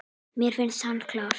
Mér finnst hann klár.